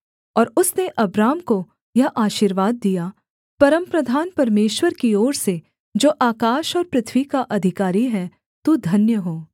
और उसने अब्राम को यह आशीर्वाद दिया परमप्रधान परमेश्वर की ओर से जो आकाश और पृथ्वी का अधिकारी है तू धन्य हो